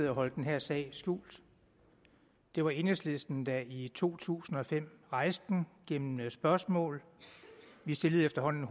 at holde den her sag skjult det var enhedslisten der i to tusind og fem rejste den gennem spørgsmål vi stillede efterhånden